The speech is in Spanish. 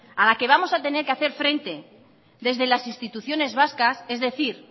a la que vamos a tener que hacer frente desde las instituciones vascas es decir